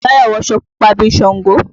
Táyọ̀ wọ aṣọ púpa bí i ṣàngó.